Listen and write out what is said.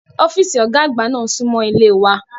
Ọ́fíìsì Ọ̀gá àgbà náà súnmọ́ ilé wa